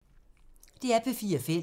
DR P4 Fælles